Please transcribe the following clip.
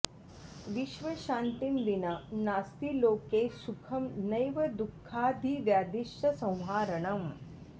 विश्वशान्तिं विना नास्ति लोके सुखं नैव दु खाऽऽधि व्याधिश्च संहारणम्